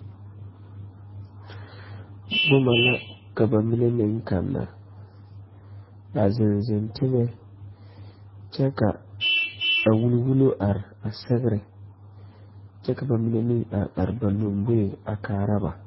Boma la ka ba mine meŋ kanna a zeŋ zeŋ teŋe kyɛ ka a wulwullo are a sɛgrɛ kyɛ ka ba mine meŋ are are ba lɔmboeŋ a kaara ba.